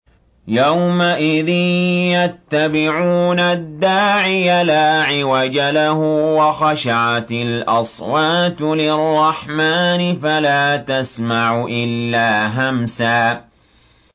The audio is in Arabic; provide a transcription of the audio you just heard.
يَوْمَئِذٍ يَتَّبِعُونَ الدَّاعِيَ لَا عِوَجَ لَهُ ۖ وَخَشَعَتِ الْأَصْوَاتُ لِلرَّحْمَٰنِ فَلَا تَسْمَعُ إِلَّا هَمْسًا